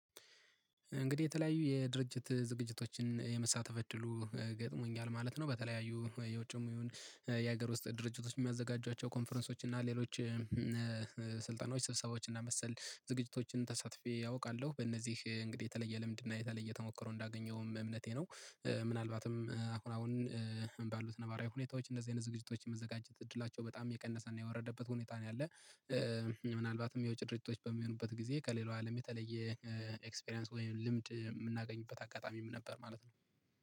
እንግዲህ የተለያዩ የድርጅት ዝግጅቶችን የመሳተፍ እድሉ ገጥሞኛል ማለት ነው። በተለያዩ የውጭም ይሁን የሀገር ውስጥ ድርጅቶች የሚያዘጋጇቸው ኮንፈረንሶች እና ሌሎች ስልጣኖች ስብሰባዎች እና መሰል ዝግጅቶችን ተሳትፌ አውቃለሁ። በእነዚህ እንግዲህ የተለየ ልምድና የተለየ ተሞከሮ እንዳገኘውም እምነቴ ነው። ምናልባትም አሁን አሁን ባሉት ነባራዊ ሁኔታዎች እንደዚህ አይነት ዝግጅቶች የመዘጋጀት እድላቸው በጣም የቀነሰና የወረደበት ሁኔታ ነው ያለው። ምናልባትም የውጭ ድርጅቶች በሚሆኑበት ጊዜ ከሌላው አለም የተለየ ኤክስፒሪያንስ ወይም ልምድ የምናገኝበት አጋጣሚ ነበር ማለት ነው